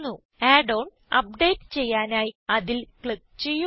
add on update ചെയ്യാനായി അതിൽ click ചെയ്യുക